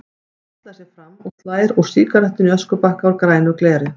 Hallar sér fram og slær úr sígarettunni í öskubakka úr grænu gleri.